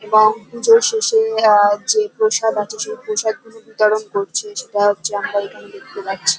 এবং পুজোর শেষে আহ যে প্রসাদ আছে সেই প্রসাদ গুলো বিতরণ করছে। সেটা হচ্ছে আমরা এখানে দেখতে পাচ্ছি।